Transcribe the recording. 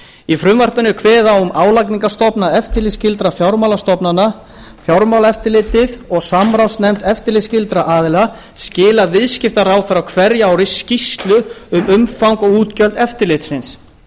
í frumvarpinu er kveðið á um álagningarstofna eftirlitsskyldra fjármálastofnana fjármálaeftirlitið og samráðsnefnd eftirlitsskyldra aðila skila viðskiptaráðherra á hverju ári skýrslu um umfang og útgjöld eftirlitsins